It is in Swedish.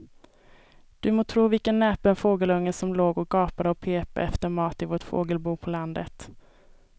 Du må tro vilken näpen fågelunge som låg och gapade och pep efter mat i vårt fågelbo på landet.